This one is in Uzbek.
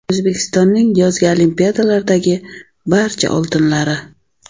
O‘zbekistonning yozgi Olimpiadalardagi barcha oltinlari.